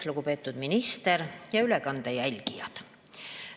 Lugupeetud minister ja ülekande jälgijad!